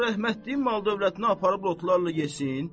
O rəhmətliyin mal-dövlətini aparıb lotlarla yesin.